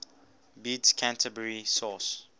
bede's canterbury source